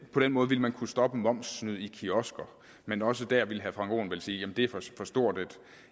på den måde ville man kunne stoppe momssnyd i kiosker men også der ville herre frank aaen vel sige at det er for stort